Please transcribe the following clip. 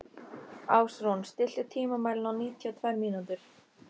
Ásrún, stilltu tímamælinn á níutíu og tvær mínútur.